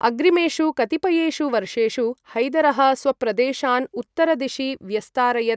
अग्रिमेषु कतिपयेषु वर्षेषु, हैदरः स्वप्रदेशान् उत्तरदिशि व्यस्तारयत्।